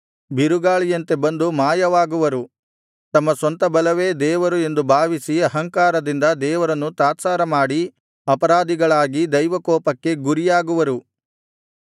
ಬಿರುಗಾಳಿಯಂತೆ ಬಂದು ಮಾಯವಾಗುವರು ತಮ್ಮ ಸ್ವಂತ ಬಲವೇ ದೇವರು ಎಂದು ಭಾವಿಸಿ ಅಹಂಕಾರದಿಂದ ದೇವರನ್ನು ತಾತ್ಸಾರಮಾಡಿ ಅಪರಾಧಿಗಳಾಗಿ ದೈವಕೋಪಕ್ಕೆ ಗುರಿಯಾಗುವರು